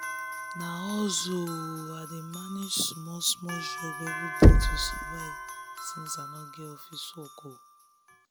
na hustle o i dey manage small-small jobs every day to survive since i no get office work.